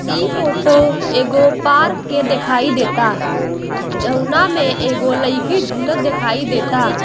ई फोटो एगो पार्क के दिखाई देता जउना मे एगो लईकी झूलत दिखाई देता।